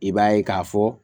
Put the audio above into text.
I b'a ye k'a fɔ